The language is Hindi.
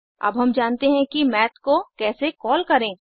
अब हम जानते हैं कि माथ को कैसे कॉल करें